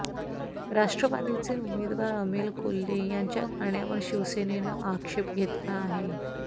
राष्ट्रवादीचे उमेदवार अमोल कोल्हे यांच्या गाण्यावर शिवसेनेनं आक्षेप घेतला आहे